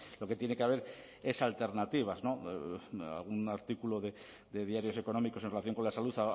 lo que tiene que haber es alternativas algún artículo de diarios económicos en relación con la salud